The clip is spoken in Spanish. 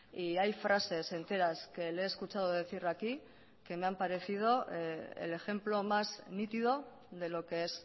y hay frases enteras que le he escuchado decir aquí que me han parecido el ejemplo más nítido de lo que es